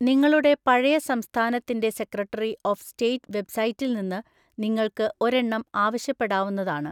നിങ്ങളുടെ പഴയ സംസ്ഥാനത്തിൻ്റെ സെക്രട്ടറി ഓഫ് സ്റ്റേറ്റ് വെബ്‌സൈറ്റിൽ നിന്ന് നിങ്ങൾക്ക് ഒരെണ്ണം ആവശ്യപ്പെടാവുന്നതാണ്.